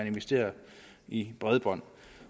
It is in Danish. investere i bredbånd